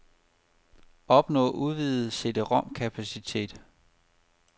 Opnå udvidet cd-rom kapacitet.